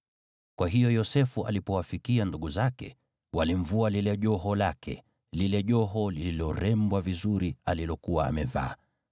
Kwa hiyo Yosefu alipowafikia ndugu zake, walimvua lile joho lake, lile joho lililorembwa vizuri alilokuwa amevaa.